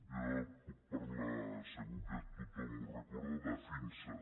jo puc parlar segur que tothom ho re·corda d’afinsa